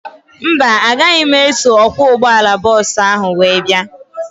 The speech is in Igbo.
Mba, agaghị m eso ọkwọ ụgbọala bọọsu ahu wee bia